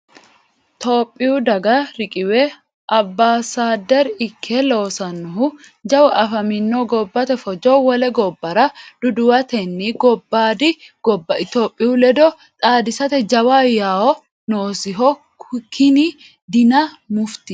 Tophiyu daga riqiwe abasader ikke loosanohu jawu afaminohu gobbate fojo wole gobbara duduwatenna gobbadi gobba itophiyu ledo xaadisate jawa yawo noosiho kini Dina Mufti.